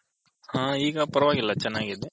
ಹ ಇಗ ಪರವಾಗಿಲ್ಲ ಚೆನ್ನಾಗಿದೆ.